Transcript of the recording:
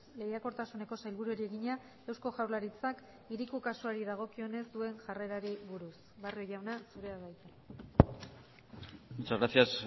lehiakortasuneko sailburuari egina eusko jaurlaritzak hiriko kasuari dagokionez duen jarrerari buruz barrio jauna zurea da hitza muchas gracias